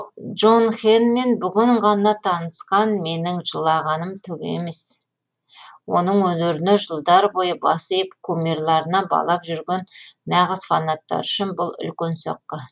джонхенмен бүгін ғана таңысқан менің жылағаным түк емес оның өнеріне жылдар бойы бас иіп кумирларына балап жүрген нағыз фанаттары үшін бұл үлкен соққы